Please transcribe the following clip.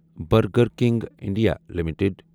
burger King India limited